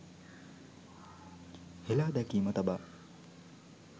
හෙළාදැකීම තබා